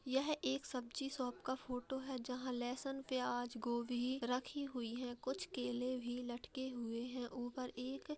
यह एक सब्जी शॉप का फोटो है जहाँ लेहसन प्याज गोभी रखी हुई है कुछ केले भी लटके हुए हैं ऊपर एक --